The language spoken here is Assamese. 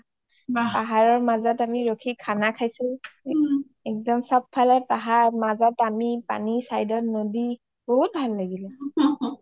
পাহাৰৰ মাজত আমি ৰখি খানা খাইছো একদম চ’ব ফালে পাহাৰ মাজত আমি side ত নদী বহুত ভাল লাগিলে